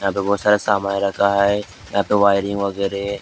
यहाँ पे बहुत सारा समान रखा है यहाँ पर वायरिंग वगैरह।